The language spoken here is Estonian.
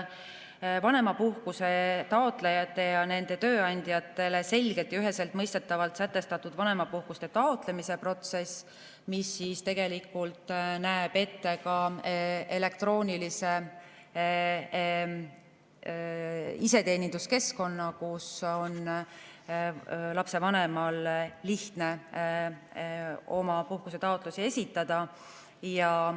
Vanemapuhkuse taotlejatele ja nende tööandjatele selgelt ja üheselt mõistetavalt on sätestatud vanemapuhkuse taotlemise protsess, mis näeb ette ka elektroonilise iseteeninduskeskkonna, kus lapsevanemal on lihtne oma puhkusetaotlusi esitada.